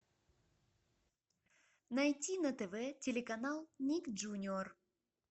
найти на тв телеканал ник джуниор